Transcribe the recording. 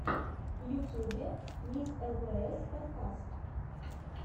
в ютьюбе мисс лпс подкаст